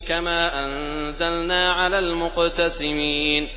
كَمَا أَنزَلْنَا عَلَى الْمُقْتَسِمِينَ